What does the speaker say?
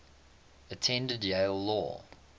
attended yale law